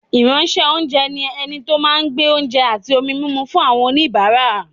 Ìránṣẹ́-oúnjẹ ni ẹni tó máa ń gbé oúnjẹ àti ohun-mímu fún àwọn oníbàárà.